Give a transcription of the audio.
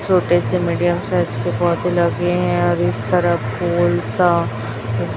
छोटे से medium size के पौधे लगे हैं और इस तरफ फूल सा--